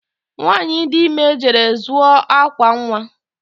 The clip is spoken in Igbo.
Nwanyị dị ime jere zụọ akwa nwa